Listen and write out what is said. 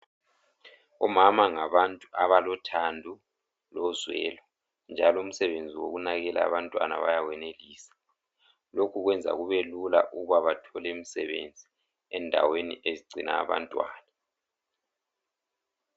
Omama ngabantu abalothando lozwelo njalo umsebenzi wokunakekela abantwana bayawenelisa .Lokhu kwenza kubelula ukuba bathole umsebenzi endaweni ezigcina abantwana